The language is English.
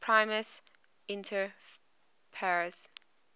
primus inter pares